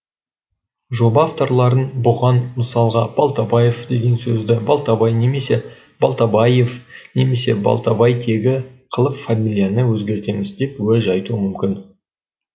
жоба авторлары бұған мысалға балтабаев деген сөзді балтабай немесе балтабайев немесе балтабайтегі қылып фамилияны өзгертеміз деп уәж айтуы мүмкін